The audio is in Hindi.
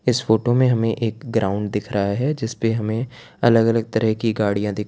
इस फोटो में हमें एक ग्राउंड दिख रहा है जिस पे हमें अलग अलग तरह की गाड़ियां दिख --